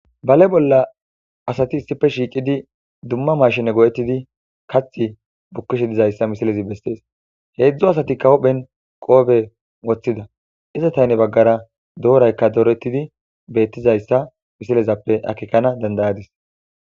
Bale bolla asati issife shiiqidi dumma mashine go'ettidi kath bukkishe dizayssa misilezi bessees heedzdzu asati kawophen qoobe woththida iza tayne baggara dooraykka doorettidi beettizayssa misilezappe akekana dandayadis.